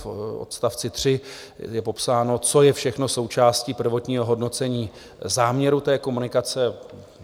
V odstavci 3 je popsáno, co je všechno součástí prvotního hodnocení záměru té komunikace.